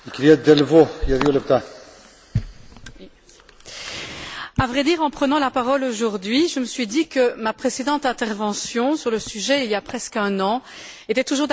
Monsieur le Président, à vrai dire, en prenant la parole aujourd'hui, je me suis dit que ma précédente intervention sur le sujet, il y a presqu'un an, était toujours d'actualité.